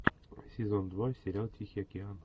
сезон два сериал тихий океан